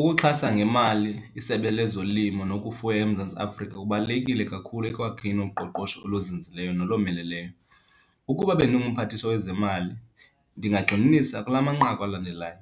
Ukuxhasa ngemali iSebe lezoLimo nokufuya eMzantsi Afrika kubalulekile kakhulu ekwakheni uqoqosho oluzinzileyo nolomeleleyo. Ukuba bendingumphathiswa wezemali, ndingaqinisa kula manqaku alandelayo,